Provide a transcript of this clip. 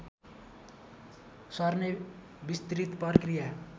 सर्ने बिस्तृत प्रकृया